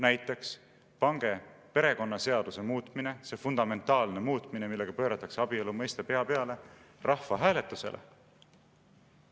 Näiteks: pange perekonnaseaduse muutmine, see fundamentaalne muutmine, millega pööratakse abielu mõiste pea peale, rahvahääletusele.